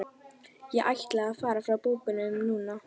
Ég ætla að segja þér frá bókinni núna.